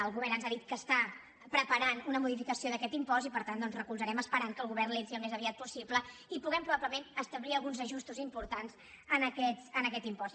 el govern ens ha dit que està preparant una modificació d’aquest impost i per tant doncs recolzarem esperant que el govern l’entri el més aviat possible i puguem probablement establir alguns ajustos importants en aquest impost